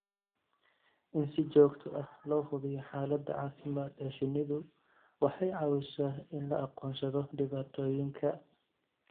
In si joogto ah loo hubiyo xaaladda caafimaad ee shinnidu waxay caawisaa in la aqoonsado dhibaatooyinka.